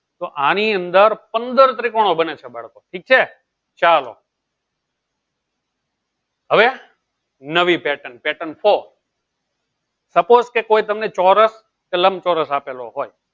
તોં આની અંદર પંદર ત્રીકોનો બને છે બાળકો ઠીક છે ચાલો હવે નવી patternpattern ફોર suppose તમને ચૌરસ કે ચૌરાસ આપેલો હોય